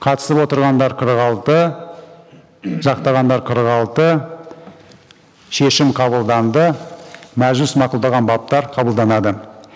қатысып отырғандар қырық алты жақтағандар қырық алты шешім қабылданды мәжіліс мақұлдаған баптар қабылданады